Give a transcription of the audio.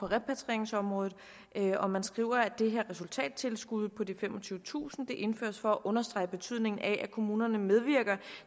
repatrieringsområdet og man skriver at det her resultattilskud på de femogtyvetusind indføres for at understrege betydningen af at kommunerne medvirker